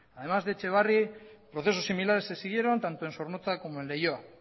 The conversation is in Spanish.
además de etxebarri procesos similares se siguieron tanto en zornotza como en leioa